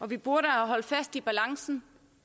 vi burde have holdt fast i balancen